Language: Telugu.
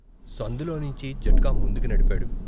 సందులో నించి జట్కా ముందుకి నడిపాడు.